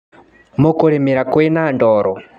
Mũkũrĩmĩra kwĩna ndoro.